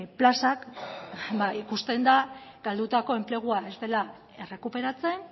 plazak ba ikusten da galdutako enplegua ez dela errekuperatzen